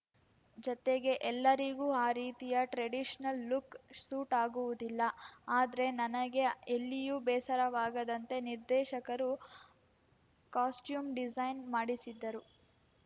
ಜತೆಗೆ ಎಲ್ಲರಿಗೂ ಆ ರೀತಿಯ ಟ್ರೆಡಿಷನಲ್‌ ಲುಕ್‌ ಸೂಟ್‌ ಆಗುವುದಿಲ್ಲ ಆದ್ರೆ ನನಗೆ ಎಲ್ಲಿಯೂ ಬೇಸರವಾಗದಂತೆ ನಿರ್ದೇಶಕರು ಕಾಸ್ಟ್ಯೂಮ್‌ ಡಿಸೈನ್‌ ಮಾಡಿಸಿದ್ದರು